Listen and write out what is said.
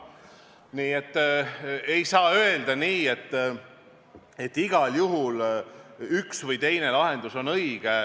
Nii et ei saa öelda nii, et igal juhul üks või teine lahendus on õige.